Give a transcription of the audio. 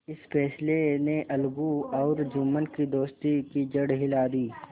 इस फैसले ने अलगू और जुम्मन की दोस्ती की जड़ हिला दी